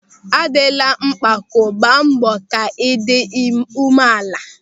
A dịla mpako, gba mbọ ka ị dị umeala!